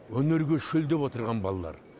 өнерге шөлдеп отырған балалар